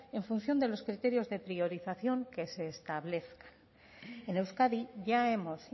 en función de los criterios de priorización que se establezcan en euskadi ya hemos